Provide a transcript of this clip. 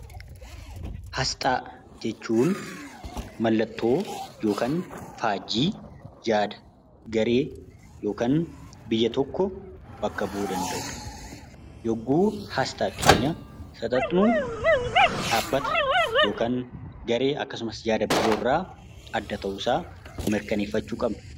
Asxaa jechuun mallattoo yookaan faajjii yaada, garee yookaan biyya tokko bakka bu'uu danda'udha. Yemmuu asxaa keenya fudhadhu dhaabbata akkasumas garee yaada biroo irraa adda ta'uu isaa mirkaneeffachuu qabna.